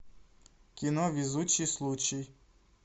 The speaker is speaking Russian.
кино везучий случай